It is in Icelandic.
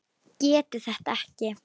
Getur þetta ekki.